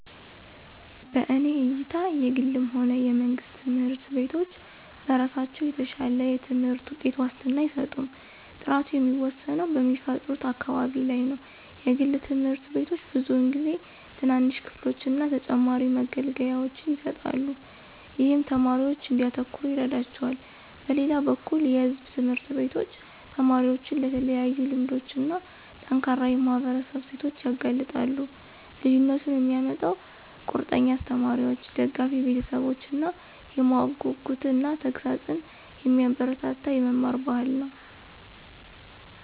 በእኔ እይታ የግልም ሆነ የመንግስት ትምህርት ቤቶች በራሳቸው የተሻለ የትምህርት ውጤት ዋስትና አይሰጡም። ጥራቱ የሚወሰነው በሚፈጥሩት አካባቢ ላይ ነው. የግል ትምህርት ቤቶች ብዙውን ጊዜ ትናንሽ ክፍሎችን እና ተጨማሪ መገልገያዎችን ይሰጣሉ, ይህም ተማሪዎች እንዲያተኩሩ ይረዳቸዋል. በሌላ በኩል የሕዝብ ትምህርት ቤቶች ተማሪዎችን ለተለያዩ ልምዶች እና ጠንካራ የማህበረሰብ እሴቶች ያጋልጣሉ። ልዩነቱን የሚያመጣው ቁርጠኛ አስተማሪዎች፣ ደጋፊ ቤተሰቦች እና የማወቅ ጉጉትን እና ተግሣጽን የሚያበረታታ የመማር ባህል ነው።